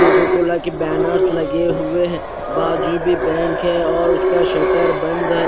Cocoa Cola के banners लगे हुए है बाजु भी बैंक है उसका स्टर बंद है।